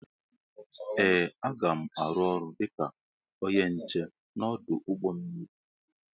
Ee aga m arụ ọrụ dịka ónyé nche n'odu ụgbọ mmiri.